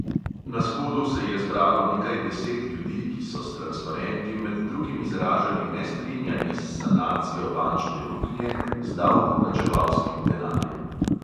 Na shodu se je zbralo nekaj deset ljudi, ki so s transparenti med drugim izražali nestrinjanje s sanacijo bančne luknje z davkoplačevalskim denarjem.